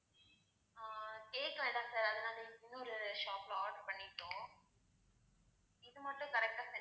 ஆஹ் cake வேண்டாம் sir அதை நாங்க இன்னொரு shop ல order பண்ணிட்டோம். இது மட்டும் correct ஆ send